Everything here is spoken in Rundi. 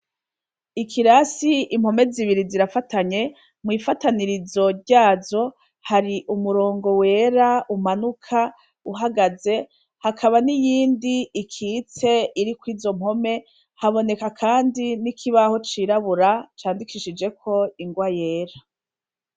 Ikirasi impome zibiri zirafatanye mwifatanirizo ryazo hari umurongo wera umanuka uhagaze hakaba niyindi icitse iriko izo mpome haboneka kandi nikigo cirabura gicishijeko ingwa yera